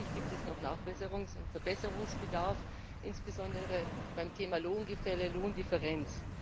Aber natürlich gibt es noch Nachbesserungs und Verbesserungsbedarf, insbesondere beim Thema Lohngefälle, Lohndifferenz.